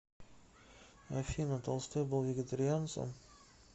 афина толстой был вегетарианцем